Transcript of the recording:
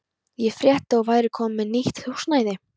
Ég frétti að þú værir komin með nýtt húsnæði.